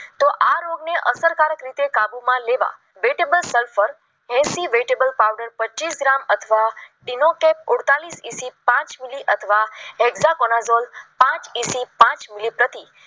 કાબુમાં લેવા ફેમીઠા સફર એસી વિજેબલ પાવડર પચીસ ગ્રામ અથવા સુડતાળીસ થી પાંચ મિલીમીટર અથવા તો પાંચ એસી પાંચ પતિ